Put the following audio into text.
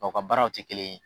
Nga u ka baaraw ti kelen ye.